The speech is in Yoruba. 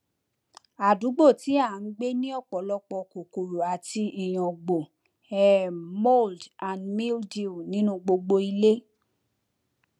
àdúgbò tí a ń gbé ní ọpọlọpọ kòkòrò àti ìyàngbò um mold and mildew nínú gbogbo ilé